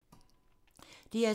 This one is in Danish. DR2